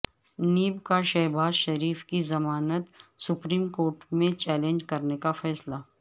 NAB کا شہبازشریف کی ضمانت سپریم کورٹ میں چیلنج کرنے کا فیصلہ